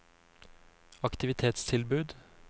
aktivitetstilbud